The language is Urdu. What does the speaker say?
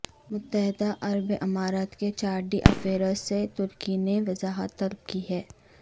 متدہ عرب امارات کے چارج ڈی افیئرز سے ترکی نے وضاحت طلب کی ہے